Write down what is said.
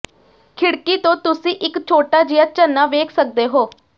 ਖਿੜਕੀ ਤੋਂ ਤੁਸੀਂ ਇੱਕ ਛੋਟਾ ਜਿਹਾ ਝਰਨਾ ਵੇਖ ਸਕਦੇ ਹੋ